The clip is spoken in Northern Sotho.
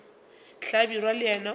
hlabirwa le yena o be